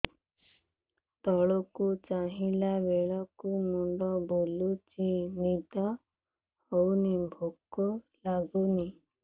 ତଳକୁ ଚାହିଁଲା ବେଳକୁ ମୁଣ୍ଡ ବୁଲୁଚି ନିଦ ହଉନି ଭୁକ ଲାଗୁନି